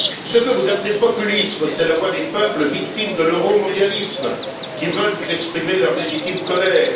Ce que vous appelez populisme, c'est la voix des peuples victimes de l'euromondialisme qui veulent vous exprimer leur légitime colère.